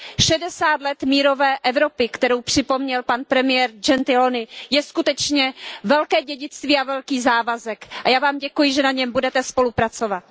Šedesát let mírové Evropy, kterou připomněl pan premiér Gentiloni, je skutečně velké dědictví a velký závazek. A já vám děkuji, že na něm budete spolupracovat.